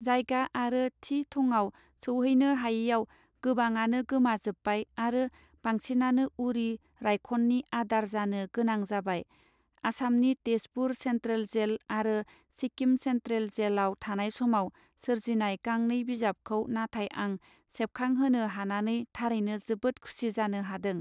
जायगा आरो थि थङाव सौहैनो हायैआव गोबाङानो गोमा जोब्बाय आरो बांसिनानो उरि रायखननि आदार जानो गोनां जाबाय आसामनि तेजपुर सेंट्रल जेल आरो सिक्किम सेंट्रल जेल आव थानाय समाव सोरजिनाय गांनै बिजाबखौ नाथाय आं सेबखां होनो हानानै थारैनो जोबोद खुसि जानो हादों.